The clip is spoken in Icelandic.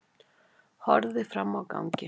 Horfði fram á ganginn.